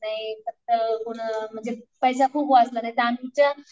नाही फक्त म्हणजे पैसा खूप वाचला आमचं